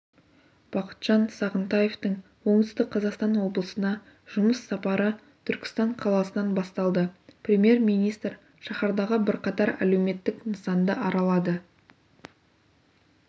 бақытжан сағынтаевтың оңтүстік қазақстан облысына жұмыс сапары түркістан қаласынан басталды премьер-министр шаһардағы бірқатар әлеуметтік нысанды аралады